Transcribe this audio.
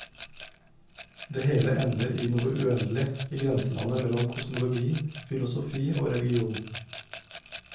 Det hele ender i noe uendelig, i grenselandet mellom kosmologi, filosofi og religion.